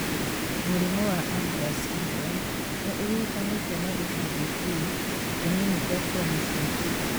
Mũrimũ wa Ambras syndrome nĩ ũhutanĩtio na gĩcunjĩ (q) kĩnini kĩa chromosome 8.